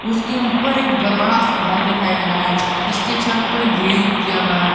उसके ऊपर एक बड़ा सा घर दिखाई दे रहा है जिसके छत पर ग्रिल किया हुआ है।